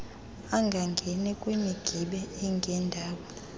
angangeni kwimigibe engendawo